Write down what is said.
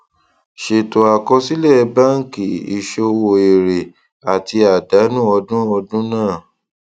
ṣètò àkọsílẹ báńkì ìṣòwò èrè àti àdánù ọdún ọdún náà